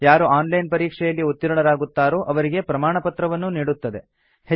ಯಾರು online ಪರೀಕ್ಷೆಯಲ್ಲಿ ಉತ್ತೀರ್ಣರಾಗುತ್ತಾರೋ ಅವರಿಗೆ ಪ್ರಮಾಣಪತ್ರವನ್ನೂ ನೀಡುತ್ತದೆ